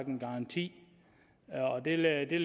en garanti og der lærte